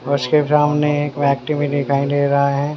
उसके सामने एक व्यक्ति भी दिखाई दे रहा है।